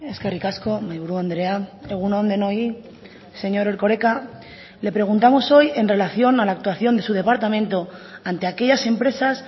eskerrik asko mahai buru andrea egun on denoi señor erkoreka le preguntamos hoy en relación a la actuación de su departamento ante aquellas empresas